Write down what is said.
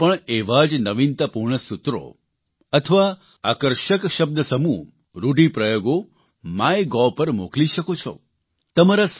હવે તમે પણ એવા જ નવીનતાપૂર્ણ સૂત્રો અથવા આકર્ષક શબ્દસમૂહરૂઢિપ્રયોગો માય ગોવ પર મોકલી શકો છો